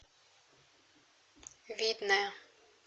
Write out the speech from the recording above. видное